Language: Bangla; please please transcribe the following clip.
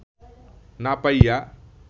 না পাইয়া